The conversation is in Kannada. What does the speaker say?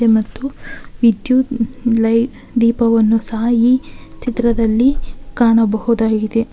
ಇಲ್ಲಿ ಮತ್ತು ವಿದ್ಯುತ್ ಲೈ ದೀಪವನ್ನು ಸಹ ಈ ಚಿತ್ರದಲ್ಲಿ ಕಾಣಬಹುದಾಗಿದೆ.